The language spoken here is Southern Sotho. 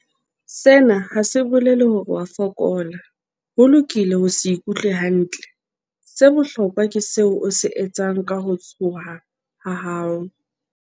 Sena ha se bolele hore o a fokola. Ho lokile ho se ikutlwe hantle. Se bohlokwa ke seo o se etsang ka ho tshoha ha hao.